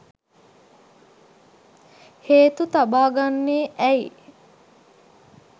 හේතු තබා ගන්නේ ඇයි?